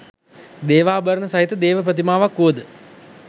දේවාභරණ සහිත දේව ප්‍රතිමාවක් වුවද